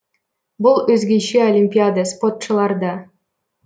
бұл өзгеше олимпиада спотшылар да